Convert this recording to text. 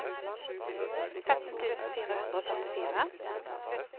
femten tusen fire hundre og førtifire